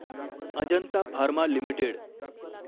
Ajanta pharma limited